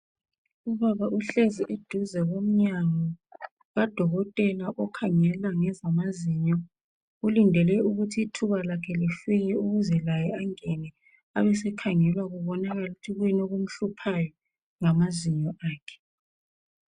Ubaba uhlezi eduze komnyango kadokotela okhangela ngezamazinyo. Ulindele ukuthi ithuba lakhe lifike ukuze laye angene, abesekhangelwa kubonakale ukuthi kuyini okumhluphayo ngamazinyo akhe.